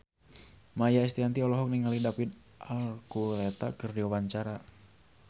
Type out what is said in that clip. Maia Estianty olohok ningali David Archuletta keur diwawancara